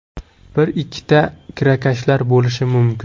Bir-ikkita kirakashlar bo‘lishi mumkin.